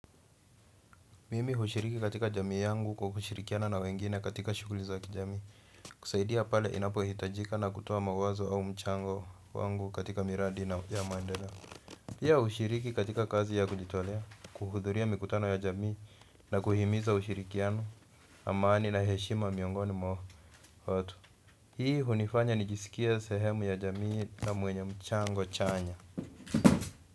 Mimi hushiriki katika jamii yangu kwa kushirikiana na wengine katika shughuli za kijamii. Kusaidia pale inapohitajika na kutoa mawazo au mchango wangu katika miradi na maendeleo. Pia hushiriki katika kazi ya kujitolea, kuhudhuria mikutano ya jamii na kuhimiza ushirikiano. Amani na heshima miongoni mwa watu. Hii hunifanya nijisikie sehemu ya jamii na mwenye mchango chanya.